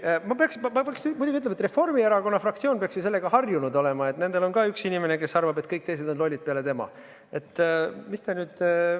Ma pean muidugi ütlema, et Reformierakonna fraktsioon peaks ju sellega harjunud olema: nendel on ka üks inimene, kes arvab, et kõik teised peale tema on lollid.